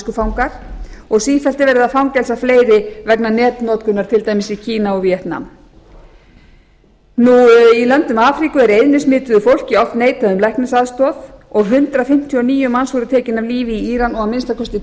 samviskufangar og sífellt er verið að fangelsa fleiri vegna netnotkunar til dæmis í kína og veg nam í löndum afríku er eyðnismituðu fólki oft neitað um læknisaðstoð og hundrað fimmtíu og níu manns voru tekin af lífi í íran og anmk